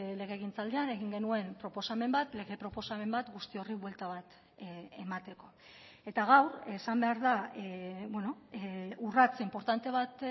legegintzaldian egin genuen proposamen bat lege proposamen bat guzti horri buelta bat emateko eta gaur esan behar da urrats inportante bat